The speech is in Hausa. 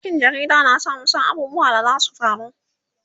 aikin jarida na sa mu San abubuwan da zasu faru